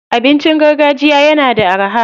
Abinci gargajiya yana da araha.